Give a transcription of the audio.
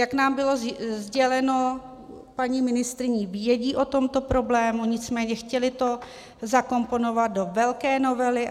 Jak nám bylo sděleno paní ministryní, vědí o tomto problému, nicméně chtěli to zakomponovat do velké novely.